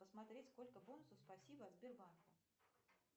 посмотреть сколько бонусов спасибо от сбербанка